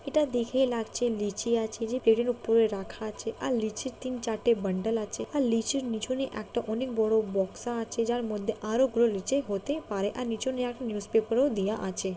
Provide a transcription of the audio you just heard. এটা দেখেই লাগছে লিচি আছে যে টেবিল -এর উপরে রাখা আছে আর নিচে তিন চারটা বান্ডাল আছে আর লিচুর পিছনে একটা অনেক বড়ো বক্সা আছে যার মধ্যে আরো লিচু হতে পারে আর নিউসপেপার -ও দেওয়া আছে।